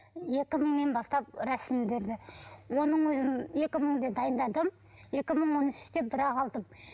екі мыңнан бастап рәсімделді оның өзін екі мыңда дайындадым екі мың он үште бірақ алдым